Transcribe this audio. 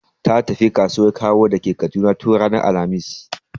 Ta tafi kasuwan Kawo da ke Kaduna tun ranar alhamis.